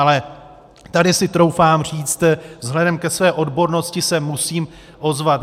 Ale tady si troufám říct, vzhledem ke své odbornosti se musím ozvat.